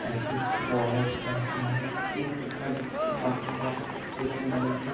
একটি বড়ো রাজমহল দেখতে পাওয়া যাচ্ছে ফাঁকা বাড়ি এবং বাড়িটি --